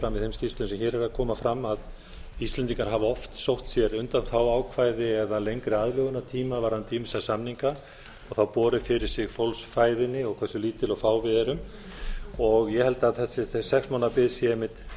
fram í þeim skýrslum sem hér eru að koma fram að íslendingar hafa oft sótt sér undanþáguákvæði eða lengri aðlögunartíma varðandi ýmsa samninga þá borið fyrir sig fólksfæðinni og hversu lítil og fá við erum ég held að þessi sex mánaða bið sé einmitt